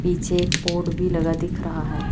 पीछे एक बोर्ड भी लगा दिख रहा है।